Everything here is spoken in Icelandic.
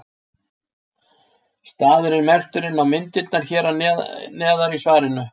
Staðurinn er merktur inn á myndirnar hér neðar í svarinu.